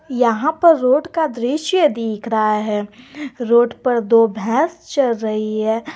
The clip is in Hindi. यहां पर रोड का दृश्य दिख रहा है रोड पर दो भैंस चल रही है।